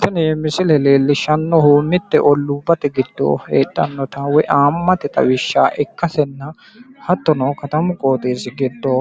tini misile leellishshannohu mitte olluubbate giddo heedhannota woyi ayiimmate xawishsha ikkasenna hattono katamu qooxeessi giddo